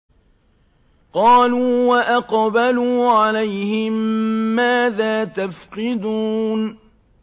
قَالُوا وَأَقْبَلُوا عَلَيْهِم مَّاذَا تَفْقِدُونَ